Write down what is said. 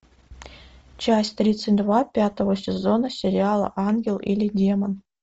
часть тридцать два пятого сезона сериала ангел или демон